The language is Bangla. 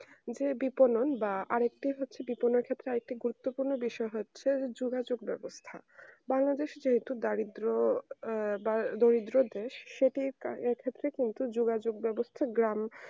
যে বিফলন বা আর এক হচ্ছে বিফলনের ক্ষেত্রে আর একটা গুরত্ব পূর্ণ বিষয়ে হচ্চহে যে যোগাযোগ বেবস্তা বাংলাদেশ এ যেহুতু দারিদ্র এর বা দরিদ্র দেশ সেটি এই ক্ষেত্রে কিন্তু যোগাযোগ বেবস্তা যে গ্রাম